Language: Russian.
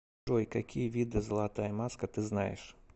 джой какие виды золотая маска ты знаешь